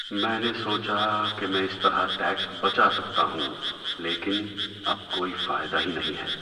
میں نے سوچا کہ میں اس طرح ٹیکس بچا سکتا ہوں، لیکن اب کوئی فائدہ ہی نہیں ہے۔